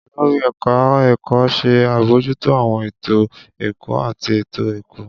Olori eka eko ṣe abojuto awọn eto ẹkọ ati eto-ẹkọ